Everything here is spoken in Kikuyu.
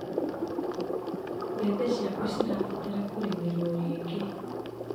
Mbembe ciaku cirabatara kũrĩmĩrwo rĩngĩ.